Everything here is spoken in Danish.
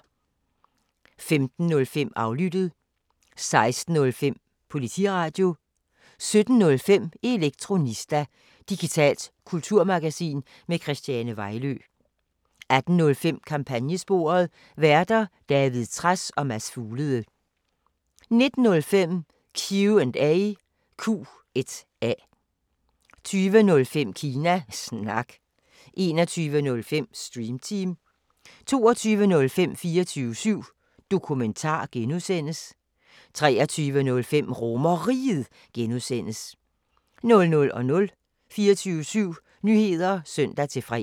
15:05: Aflyttet 16:05: Politiradio 17:05: Elektronista – digitalt kulturmagasin med Christiane Vejlø 18:05: Kampagnesporet: Værter: David Trads og Mads Fuglede 19:05: Q&A 20:05: Kina Snak 21:05: Stream Team 22:05: 24syv Dokumentar (G) 23:05: RomerRiget (G) 00:00: 24syv Nyheder (søn-fre)